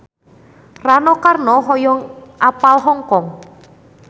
Rano Karno hoyong apal Hong Kong